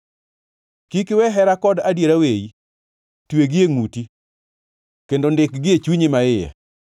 Kik iwe hera kod adiera weyi; twegi e ngʼuti, kendo ndikgi e chunyi maiye.